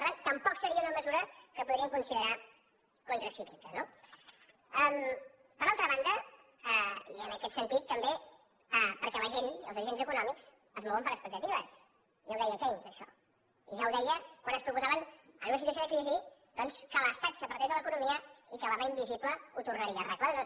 per tant tampoc seria una mesura que podríem considerar contracíclica no per altra banda i en aquest sentit també perquè la gent els agents econòmics es mouen per expectatives ja ho deia keynes això i ja ho deia quan es proposaven en una situació de crisi doncs que l’estat s’apartés de l’economia i que la mà invisible ho tornaria arreglar tot